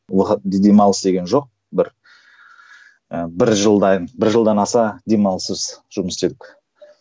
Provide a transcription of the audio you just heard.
демалыс деген жоқ бір і бір жылдай бір жылдан аса демалыссыз жұмыс істедік